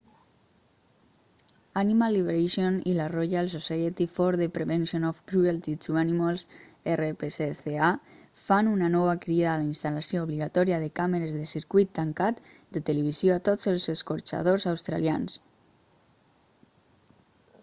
animal liberation i la royal society for the prevention of cruelty to animals rpsca fan una nova crida a la instal·lació obligatòria de càmeres de circuit tancat de televisió a tots els escorxadors australians